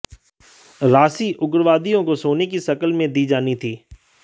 राशि उग्रवादियों को सोने की शक्ल में दी जानी थी